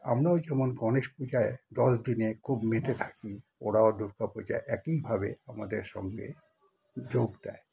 আমরাও যেমন গণেশ পুজোয় দশ দিনে মেতে থাকি ওরাও দুর্গাপুজায় এক ই ভবে আমাদের সঙ্গে যোগ দেয়